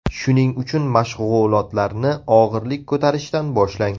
Shuning uchun mashg‘ulotlarni og‘irlik ko‘tarishdan boshlang.